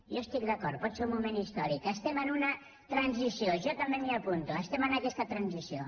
jo hi estic d’acord pot ser un moment històric estem en una transició jo també m’hi apunto estem en aquesta transició